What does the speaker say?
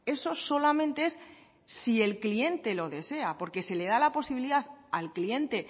eso solamente es si el cliente lo desea porque se le da la posibilidad al cliente